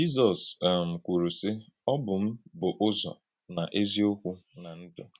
Jízọs um kwùrù, sị: “Ọ bụ́ m bụ̀ Ụ̀zọ̀, nà Èzì-Okwú, nà Ndụ́.”